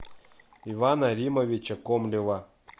ивана римовича комлева